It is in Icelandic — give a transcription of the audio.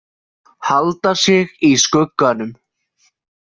Halda sig í skugganum.